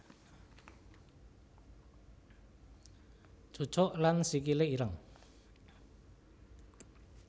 Cucuk lan Sikile ireng